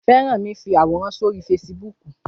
Fẹ́rànmi fi àwòrán sórí fesibúùkù